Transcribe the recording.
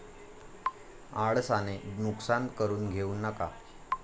आळसाने नुकसान करून घेऊ नका.